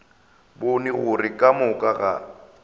bone gore ka moka ga